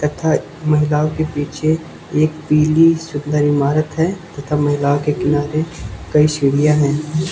तथा महिलाओं के पीछे एक पीली सुंदर इमारत है तथा महिलाओं के किनारे कई सीढ़ियां हैं।